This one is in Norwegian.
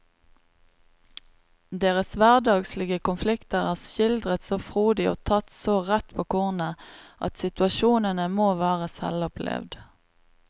Deres hverdagslige konflikter er skildret så frodig og tatt så rett på kornet at situasjonene må være selvopplevd.